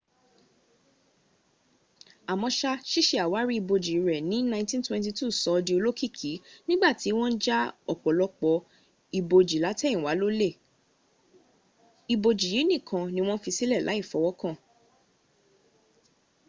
àmọ́ṣá síse àwárí ibojì rẹ̀ ní 1922 sọ ọ́ di olóòkìkí niigbàtí wọ́n ja ọ̀pọ̀lọpọ̀ ibojì látẹ̀yìnwá lólè ibojì yìí nìkan ní wọ́n fi sílẹ̀ láì fọwọ́kàn